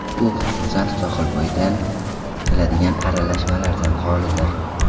U, xususan, sohilbo‘yidan keladigan aralashmalardan xolidir.